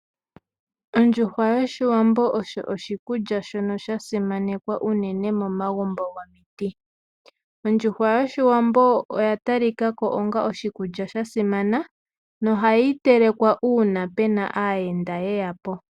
Ondjuhwa yOshiwambo osho oshikulya shono sha simanekwa unene mo magumbo gomiti. Ondjuhwa yoshiwambo oya tali kako onga oshikulya sha simana no hayi telekwa uuna pena aayenda ye yapo.